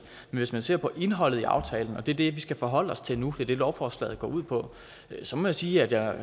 hvis man ser på indholdet i aftalen og det er det vi skal forholde os til nu for det lovforslaget går ud på så må jeg sige at jeg